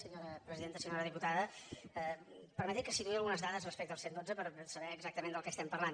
senyora diputada permeti’m que situï algunes dades respecte al cent i dotze per saber exactament de què estem parlant